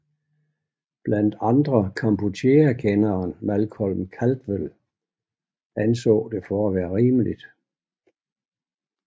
Blandt andre Kampucheakenderen Malcolm Caldwell anså det for at være rimeligt